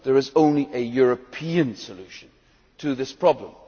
There is only a European solution to this problem.